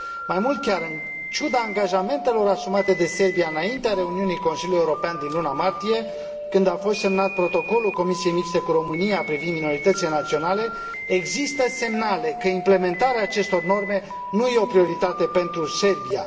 Mai mult chiar, în ciuda angajamentelor asumate de Serbia înainte de reuniunea Consiliului European din luna martie, când a fost semnat protocolul Comisiei mixte cu România privind minoritățile naționale, există semnale că implementarea acestor norme nu e o prioritate pentru Serbia.